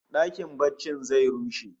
Dakin barcin zai rushe